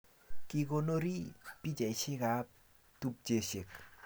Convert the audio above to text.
Kikonorii pichaishek ab tupcheshek